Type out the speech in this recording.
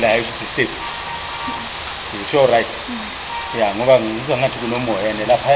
emhesha sisihlalo santoni